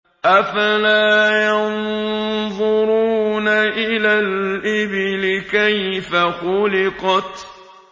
أَفَلَا يَنظُرُونَ إِلَى الْإِبِلِ كَيْفَ خُلِقَتْ